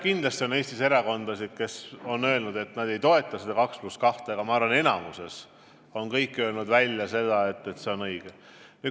Kindlasti on Eestis erakondasid, kes on öelnud, et nad ei toeta skeemi 2 + 2, aga ma arvan, et enamik on kõik öelnud välja, et see on õige.